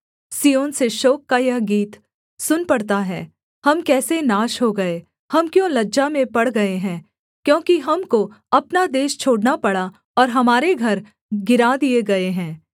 सिय्योन से शोक का यह गीत सुन पड़ता है हम कैसे नाश हो गए हम क्यों लज्जा में पड़ गए हैं क्योंकि हमको अपना देश छोड़ना पड़ा और हमारे घर गिरा दिए गए हैं